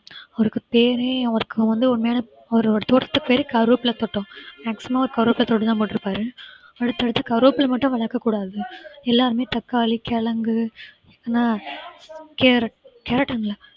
அவருக்கு பேரே அவருக்கு வந்து உண்மையான அவரோட தோட்டத்து பெயரே கருவேப்பிலை தோட்டம் maximum அவர் கருவேப்பிலை தோட்டம் தான் போட்டிருப்பாரு அடுத்தடுத்து கருவேப்பிலை மட்டும் வளர்க்கக்கூடாது எல்லாருமே தக்காளி, கிழங்கு ஏன்னா carrot, carrot ன்னு இல்ல